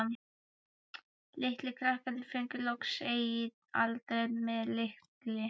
Litlu krakkarnir fengu loksins eigið afdrep- með lykli.